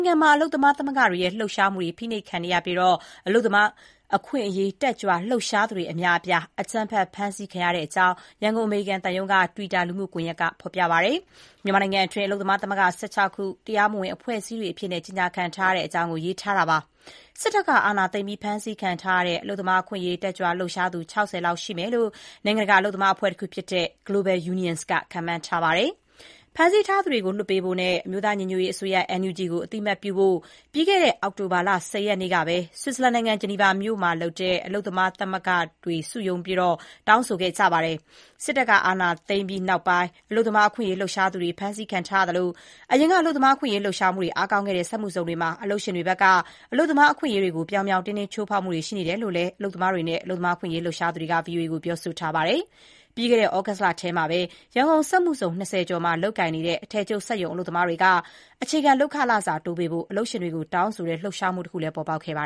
င်းမှာ အလုပ်သမားသမဂ္ဂတွေရဲ့ လှုပ်ရှားမှုတွေ ဖိနှိပ်ခံနေရပြီး အလုပ်သမားရေး လှုပ်ရှားသူအများအပြား အကြမ်းဖက် ဖမ်းဆီးခံထားရတဲ့အကြောင်း ရန်ကုန်အမေရိကန်သံရုံးရဲ့ တွစ်တာလှုမှုကွန်ယက်မှာ ဖေါ်ပြပါတယ်။ မြန်မာနိုင်ငံအတွင်းမှာ အလုပ်သမားသမဂ္ဂ ၁၆ ခု တရားမဝင် ကြေညာခံထားတဲ့အကြောင်း ရေးသားထားပါတယ်။ စစ်တပ်က အာဏာသိမ်းပြီး ဖမ်းဆီးခံထားရတဲ့ အလုပ်သမားအခွင့်အရေး လှုပ်ရှားသူ ၆၀ လောက်ရှိမယ်လို့ နိုင်ငံတကာ အလုပ်သမားအဖွဲ့ Global Unions ခန့်မှန်းထားပါတယ်။ ဖမ်းဆီးထားသူတွေကိုလွှတ်ပေးဖို့နဲ့ အမျိုးသား ညီညွတ်ရေးအစိုးရ NUG ကို အသိအမှတ်ပြုဖို့ ပြီးခဲ့တဲ့ အောက်တိုဘာလ ၁၀ ရက်နေ့က ဂျနီဗာမှာ အလုပ်သမားမသဂ္ဂတွေ စုရုံးတောင်းဆိုခဲ့ကြပါတယ်။ စစ်တပ်က အာဏာသိမ်းပြီးနောက်ပိုင်း အလုပ်သမားအခွင့်အရေး လှုပ်ရှားသူတွေ ဖမ်းဆီးခံထားရသလို အရင်က အလုပ်သမားအခွင့်အရေးလှုပ်ရှားမှုတွေ အားကောင်းခဲ့တဲ့ စက်မှုဇုံမှာ အလုပ်ရှင်တွေဘက်က အလုပ်သမားအခွင့်အရေးတွေကို ပြောင်ပြောင်တင်းတင်း ချိုးဖောက်မှုတွေရှိနေတယ်လို့လည်း အလုပ်သမား အခွင့်အရေး လှုပ်ရှားသူတွေက VOA ကို ပြောဆိုထားပါတယ်။ ပြီးခဲ့တဲ့ သြဂုတ်လအတွင်းကတော့ ရန်ကုန်စက်မှုဇုံ ၂၀ ကျော်မှာ လုပ်ကိုင်နေတဲ့ အထည်ချုပ် စက်ရုံအလုပ်သမားတွေက အခြေခံ လုပ်အားခတိုးပေးဖို့ အလုပ်ရှင်တွေကို တောင်းဆိုတဲ့ လှုပ်ရှားမှုတခု ပေါ်ပေါက်ခဲ့ပါ